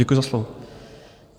Děkuji za slovo.